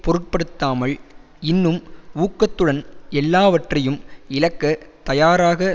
பொருட்படுத்தாமல் இன்னும் ஊக்கத்துடன் எல்லாவற்றையும் இழக்கத் தயாராக